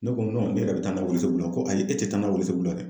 Ne ko ne yɛrɛ bɛ taa na welesebugu la ko ayi e tɛ taa n'a ye welesebugu la dɛ.